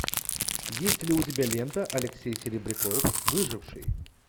есть ли у тебя лента алексей серебряков выживший